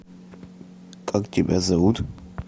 как тебя зовут